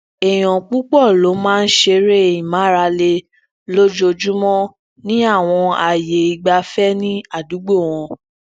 eèyàn pupọ ló máa ń ṣeré ìmárale lójoojúmó ní awọn aaye igbafẹ ni adugbo wọn